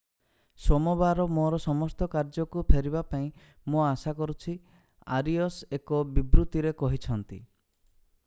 ସୋମବାର ମୋର ସମସ୍ତ କାର୍ଯ୍ୟକୁ ଫେରିବା ପାଇଁ ମୁଁ ଆଶା କରୁଛି ଆରିଅସ୍ ଏକ ବିବୃତିରେ କହିଛନ୍ତି